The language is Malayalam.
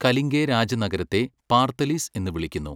കലിംഗേ രാജനഗരത്തെ പാർത്ഥലിസ് എന്ന് വിളിക്കുന്നു.